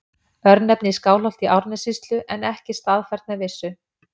Örnefni í Skálholti í Árnessýslu en ekki staðfært með vissu.